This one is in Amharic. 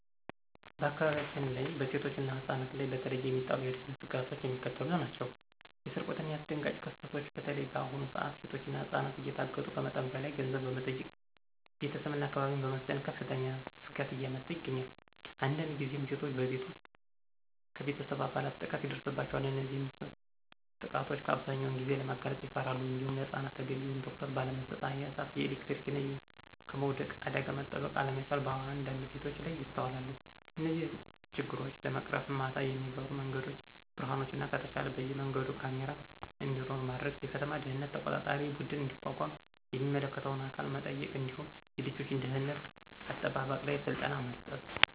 በአካባቢያችን በሴቶችና ህፃናት ላይ በተለየ የሚጣሉ የደህንነት ስጋቶች የሚከተሉት ናቸው። የስርቆትናየአስደንጋጭ ክስተቶች (በተለይ በአሁኑ ሰዓት ሴቶችና ህፃናት እየታገቱ ከመጠን በላይ ገንዘብ በመጠየቅ ቤተሰብና አካባቢን በማስጨነቅ ከፍተኛ ስጋት እያመጣ ይገኛል። አንዳንድ ጊዜም ሴቶች በቤት ውስጥ ከቤተሰብ አባላት ጥቃት ይደርስባቸዋል። እነዚህንም ጥቃቶች አብዛኛውን ጊዜ ለማጋለጥ ይፈራሉ። እንዲሁም ለህፃናት ተገቢውን ትኩረት ባለመስጠት የእሳት፣ የኤሌክትሪክና ከመውደቅ አደጋ መጠበቅ አለመቻል በአንዳንድ ቤቶች ላይ ይስተዋላል። እነዚህን ችግሮች ለመቅረፍም ማታ የሚበሩ የመንገድ ብርሀኖችንና ከተቻለ በየመንገዱ ካሜራ እንዲኖር ማድረግ፣ የከተማ ደህንነት ተቆጣጣሪ ቡድን እንዲቋቋም የሚመለከተውን አካል መጠየቅ እንዲሁም የልጆች ደህንነት አጠባበቅ ላይ ስልጠና መስጠት